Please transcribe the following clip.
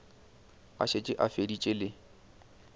a šetše a feditše le